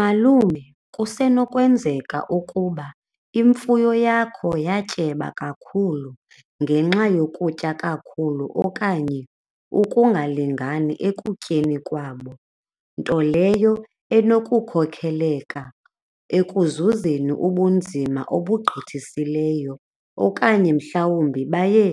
Malume, kusenokwenzeka ukuba imfuyo yakho yatyeba kakhulu ngenxa yokutya kakhulu okanye ukungalingani ekutyeni kwabo, nto leyo enokukhokheleka ekuzuzeni ubunzima obugqithisileyo okanye mhlawumbi baye